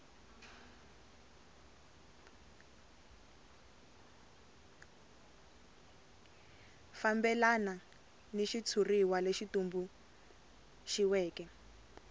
fambelana ni xitshuriwa lexi tumbuluxiweke